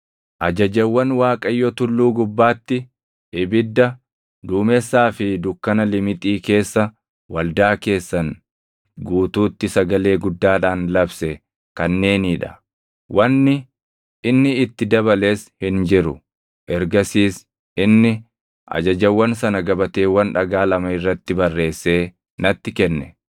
Ajajawwan Waaqayyo tulluu gubbaatti, ibidda, duumessaa fi dukkana limixii keessa waldaa keessan guutuutti sagalee guddaadhaan labse kanneenii dha; wanni inni itti dabales hin jiru. Ergasiis inni ajajawwan sana gabateewwan dhagaa lama irratti barreessee natti kenne.